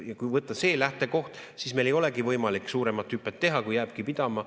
Ja kui võtta see lähtekoht, siis meil ei olegi võimalik suuremat hüpet teha, jääbki pidama.